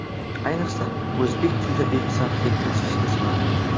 Ayniqsa, o‘zbek tiliga bepisandlik tashvishga soladi.